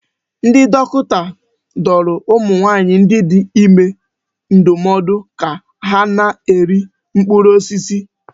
Ndị dọkịta dụrụ ụmụ nwaanyị dị ime ndụmọdụ ka ha na-eri mkpụrụ osisi.